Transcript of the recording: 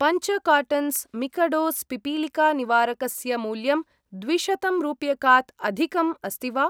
पञ्च कार्टन्स् मिकडोस् पिपीलिकानिवारकस्य मूल्यं द्विशतम् रूप्यकात् अधिकम् अस्ति वा?